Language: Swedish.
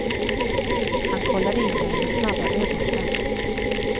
Han kollade in mej med snabba ögonkast.